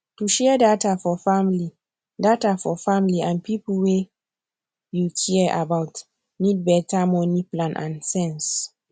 to share data for family data for family and people wey you care about need better money plan and sense